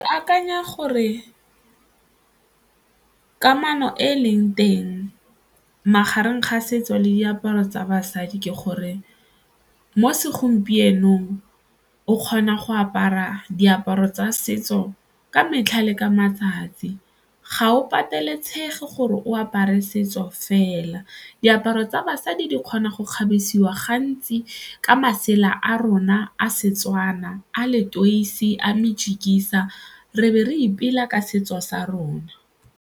Ke akanya gore kamano e e leng teng magareng ga setso le diaparo tsa basadi ke gore mo segompienong o kgona go apara diaparo tsa setso ka metlha le ka matsatsi, ga o pateletsega gore o apare setso fela. Diaparo tsa basadi di di kgona go kgabesitsweng gantsi ka masela a rona a Setswana a letoisi, a mejikisa re be re ipela ka setso sa rona.